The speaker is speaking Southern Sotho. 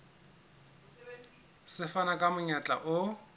se fana ka monyetla o